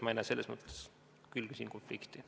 Ma ei näe selles mõttes küll siin konflikti.